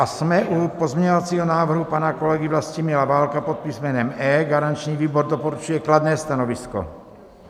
A jsme u pozměňovacího návrhu pana kolegy Vlastimila Válka pod písmenem E, garanční výbor doporučuje kladné stanovisko.